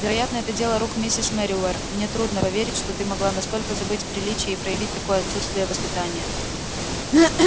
вероятно это дело рук миссис мерриуэр мне трудно поверить что ты могла настолько забыть приличия и проявить такое отсутствие воспитания